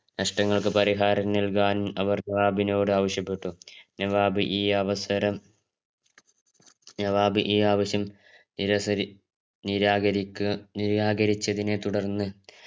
നഷ്ടങ്ങൾക്കു പരിഹാരം നല്കാൻ അവർ നവാബിനോദ് ആവിശ്യപ്പെട്ട് നവാബ് ഈ അവസരം നവാബ് ഈ ആവിശ്യം നിരസരി നിരാകരിക് നിരാകരിച്ചതിനെ തുടർന്ന്